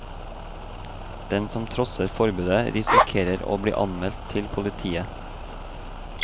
Den som trosser forbudet, risikerer å bli anmeldt til politiet.